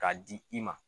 K'a di i ma